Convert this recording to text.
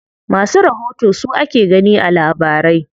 Masu rahoto su ake gani a labarai.